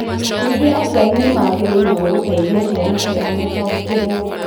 Ningĩ aciari nĩ magĩrĩirũo gũteithia ciana ciao gũtaũkĩrũo.